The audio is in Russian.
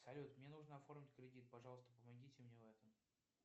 салют мне нужно оформить кредит пожалуйста помогите мне в этом